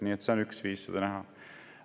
Nii et see on üks viis seda näha.